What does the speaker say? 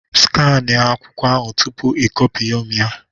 Skania akwụkwọ ahụ tupu i copyomi ya